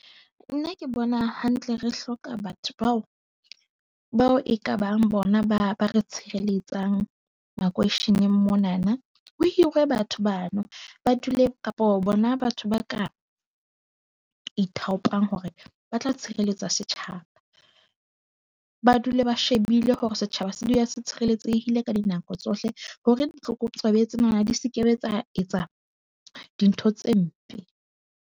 Nna ke bona hantle re hloka batho bao bao e ka bang bona ba ba re tshireletsang makweisheneng mona na. Ho hirwe batho bano, ba dule kapo bona batho ba ka ithaopang hore ba tla tshireletsa setjhaba. Ba dule ba shebile hore setjhaba se dula se tshireletsehile ka dinako tsohle hore ditlokotsebe tsena di se ke be tsa etsa dintho tse mpe.